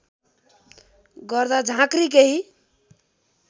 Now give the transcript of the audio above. गर्दा झाँक्री केही